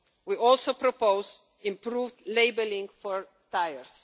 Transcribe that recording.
We also propose improved labelling for tyres.